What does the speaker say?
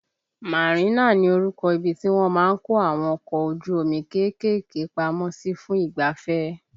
Marina ni orúkọ ibi tí wọ́n má ń kó àwọn ọkọ ojú omi kéékèèké pamọ́ sí fún ìgbafẹ́